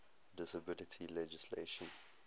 disability legislation